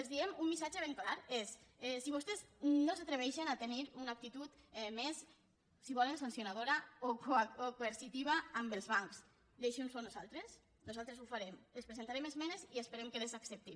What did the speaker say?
els diem un missatge ben clar és si vostès no s’atreveixen a tenir una actitud més si volen sancionadora o coercitiva amb els bancs deixinnosho a nosaltres nosaltres ho farem els presentarem esmenes i esperem que les acceptin